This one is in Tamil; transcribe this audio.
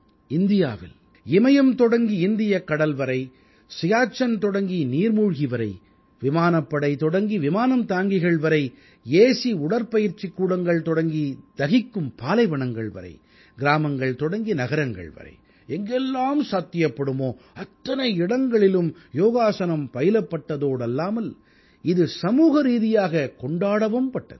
இந்தியாவில் இமயம் தொடங்கி இந்தியக் கடல் வரை சியாச்சென் தொடங்கி நீர்மூழ்கி வரை விமானப்படை தொடங்கி விமானம் தாங்கிகள் வரை ஏசி உடற்பயிற்சிக் கூடங்கள் தொடங்கி தகிக்கும் பாலைவனங்கள் வரை கிராமங்கள் தொடங்கி நகரங்கள் வரை எங்கெல்லாம் சாத்தியப்படுமோ அத்தனை இடங்களிலும் யோகாஸனம் பயிலப்பட்டதோடல்லாமல் இது சமூகரீதியாக கொண்டாடவும்பட்டது